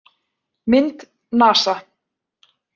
Mynd: NASA